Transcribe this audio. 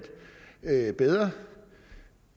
bedre